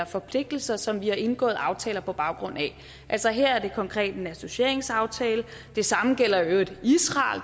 forpligtelser som vi har indgået aftaler på baggrund af altså her er det konkret en associeringsaftale det samme gælder i øvrigt israel